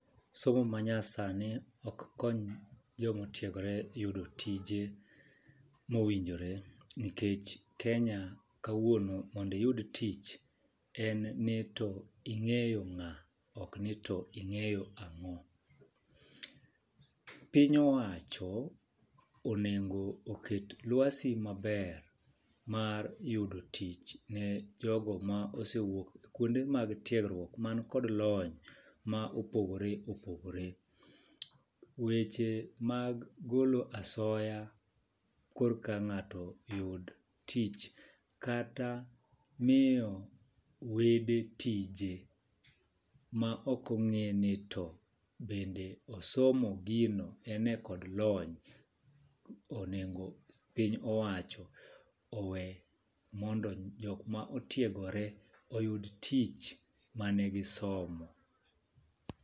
Somo manyasani ok kony joma otiegore yudo tije mowinjore nikech Kenya kawuono mondo iyud tich, en ni to ing'eyo ng'aa ok ni to ing'eyo ang'o. Piny owacho onengo oket lwasi maber mar yudo tich ne jogo mosewuok kuonde mag tiegruok man kod lony ma opogore opogore. Weche mag golo asoya korka ng'ato oyud tich kata miyo wede tije ma ok ong'eni to bende osomo gino ene kod lony onengo piny owacho owe mondo jok ma otiegore oyud tich mane gi somo.